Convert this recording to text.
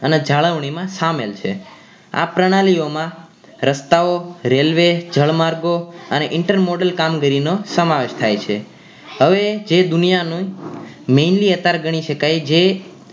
અને જાળવણી માં શામેલ છે આ પ્રણાલીઓ માં રસ્તા ઓ રેલ્વે જળ માર્ગો અને intermortal કામગીરી નો શમાવેશ થાય છે હવે જે દુનિયા નું mainly અત્યારે ગણી શકાય જે